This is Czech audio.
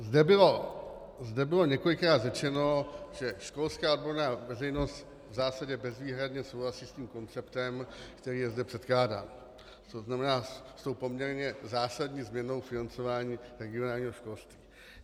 Zde bylo několikrát řečeno, že školská odborná veřejnost v zásadě bezvýhradně souhlasí s tím konceptem, který je zde předkládán, to znamená s tou poměrně zásadní změnou financování regionálního školství.